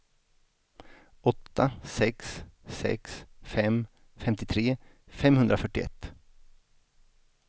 åtta sex sex fem femtiotre femhundrafyrtioett